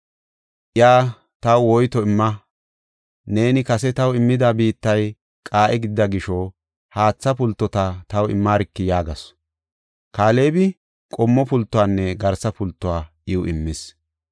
Iya, “Taw woyto imma. Neeni kase taw immida biittay qaa7e gidida gisho haatha pultota taw immarki” yaagasu. Kaalebi qommo pultuwanne garsa pultuwa iw immis.